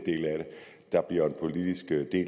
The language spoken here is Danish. der bliver en politisk del